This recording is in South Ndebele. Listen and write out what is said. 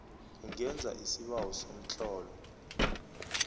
ungenza isibawo somtlolo